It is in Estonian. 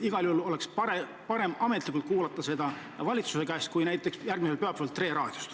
Igal juhul oleks parem ametlikult kuulda seda valitsuse käest kui näiteks järgmisel pühapäeval Tre Raadiost.